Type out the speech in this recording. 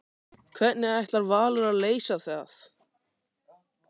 Hvernig ætlar Valur að leysa það?